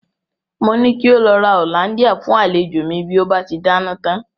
Mo ní kí ó lọ ra hollandia fún àlejò mi bí ó bá ti dáná tán.